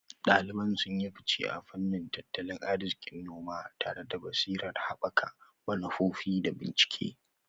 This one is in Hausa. Daliban sun yi fice a fannin tattalin arzikin noma, tare da basirar haɓaka manufofi da bincike.